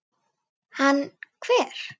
Hann hver?